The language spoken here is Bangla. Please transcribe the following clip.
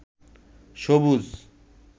সবুজ